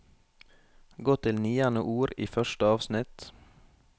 Gå til niende ord i første avsnitt